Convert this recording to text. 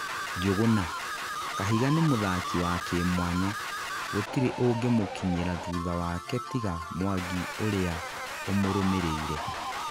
Njuguna: Kahiga ni mũthaki wa kimwanya. Gũtire ũngĩmũkinyĩra thutha wake tiga Mwangi ũria umurumĩrĩire